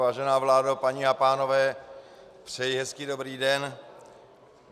Vážená vládo, paní a pánové, přeji hezký dobrý den.